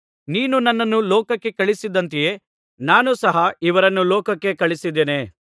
ನೀನು ನನ್ನನ್ನು ಲೋಕಕ್ಕೆ ಕಳುಹಿಸಿದಂತೆಯೇ ನಾನು ಸಹ ಇವರನ್ನು ಲೋಕಕ್ಕೆ ಕಳುಹಿಸಿದ್ದೇನೆ